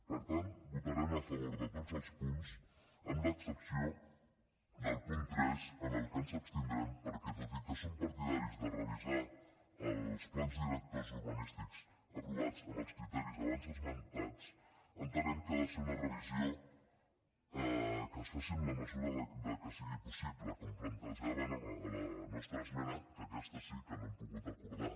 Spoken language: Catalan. per tant votarem a favor de tots els punts amb l’excepció del punt tres en què ens abstindrem perquè tot i que som partidaris de revisar els plans directors urbanístics aprovats amb els criteris abans esmentats entenem que ha de ser una revisió que es faci amb la mesura que sigui possible com plantejàvem a la nostra esmena que aquesta sí que no l’hem pogut acordar